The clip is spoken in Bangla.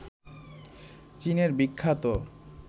চীনের বিখ্যাত